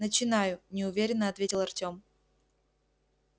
начинаю неуверенно ответил артем